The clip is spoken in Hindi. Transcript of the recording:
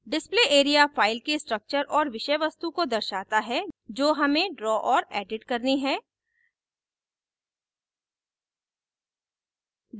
display area file के structures और विषयवस्तु को दर्शाता है जो हम draw और edit करते है